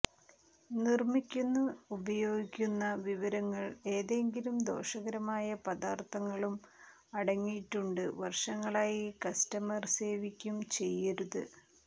നിർമ്മിക്കുന്നു ഉപയോഗിക്കുന്ന വിവരങ്ങൾ ഏതെങ്കിലും ദോഷകരമായ പദാർത്ഥങ്ങളും അടങ്ങിയിട്ടുണ്ട് വർഷങ്ങളായി കസ്റ്റമർ സേവിക്കും ചെയ്യരുത്